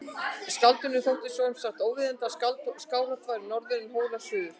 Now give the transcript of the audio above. Skáldinu þótti sem sagt óviðeigandi að Skálholt færi norður en Hólar suður.